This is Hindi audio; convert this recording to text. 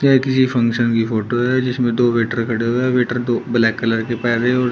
ये किसी फंक्शन की फोटो है जिसमें दो वेटर खड़े हुए हैं वेटर दो ब्लैक कलर की पहने हैं और--